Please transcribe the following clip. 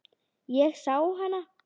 Ég sá hana, segi ég.